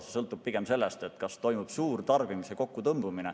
See sõltub pigem sellest, kas toimub suur tarbimise kokkutõmbumine.